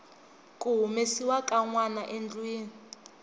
ku humesiwa ka nwanaendlwini